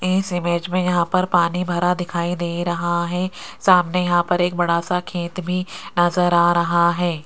इस इमेज में यहां पर पानी भरा दिखाई दे रहा है सामने यहां पर एक बड़ा सा खेत भी नजर आ रहा है।